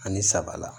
Ani saba la